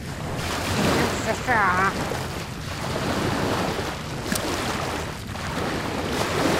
фильм сша